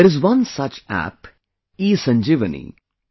There is one such App, ESanjeevani